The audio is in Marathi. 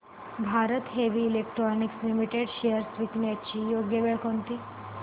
Bharat Heavy Electricals Limited shares विकण्याची योग्य वेळ कोणती